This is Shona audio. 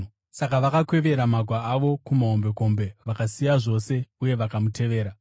Saka vakakwevera magwa avo kumahombekombe, vakasiya zvose uye vakamutevera.